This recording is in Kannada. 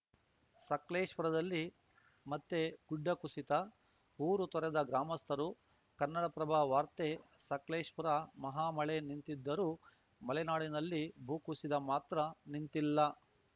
ಸಕ್ಲೇಶ್ಪುರದಲ್ಲಿ ಮತ್ತೆಗುಡ್ಡ ಕುಸಿತ ಊರು ತೊರೆದ ಗ್ರಾಮಸ್ಥರು ಕನ್ನಡಪ್ರಭ ವಾರ್ತೆ ಸಕ್ಲೇಶ್ಪುರ ಮಹಾ ಮಳೆ ನಿಂತಿದ್ದರೂ ಮಲೆನಾಡಿನಲ್ಲಿ ಭೂಕುಸಿತ ಮಾತ್ರ ನಿಂತಿಲ್ಲ